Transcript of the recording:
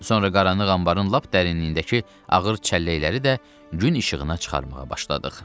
Sonra qaranlıq anbarın lap dərinliyindəki ağır çəlləkləri də gün işığına çıxarmağa başladıq.